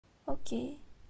окей